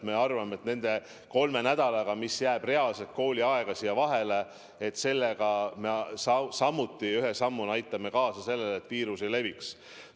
Me arvame, et nende kolme nädala jooksul, mis jääb reaalset kooliaega siia vahele, me aitame ühe sammuna niimoodi kaasa sellele, et viirus ei leviks.